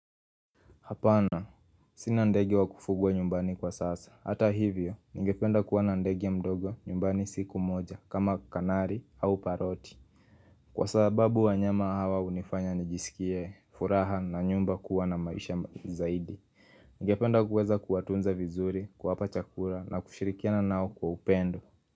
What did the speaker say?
Hapana, sinandege wa kufugwa nyumbani kwa sasa. Hata hivyo, nigependa kuwa na ndege mdogo nyumbani siku moja kama kanari au paroti. Kwa sababu wa nyama hawa unifanya nijisikie furaha na nyumba kuwa na maisha zaidi. Nigependa kuweza kuwatunza vizuri kuwapa chakura na kushirikiana nao kwa upendo.